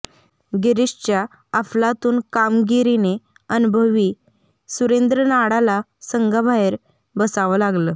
गिरीशच्या अफलातून कामगिरीने अनुभवी सुरेंद्र नाडाला संघाबाहेर बसावं लागलं